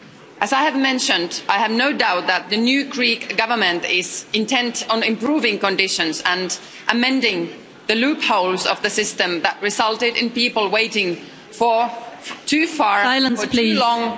As I have mentioned, I have no doubt that the new Greek Government is intent on improving conditions and amending the loopholes of the system that resulted in people waiting for too long.